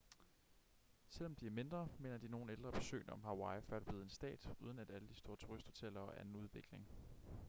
selvom de er mindre minder de nogle ældre besøgende om hawaii før det blev en stat uden alle de store turisthoteller og anden udvikling